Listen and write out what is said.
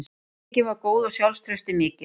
Hreyfingin var góð og sjálfstraustið mikið.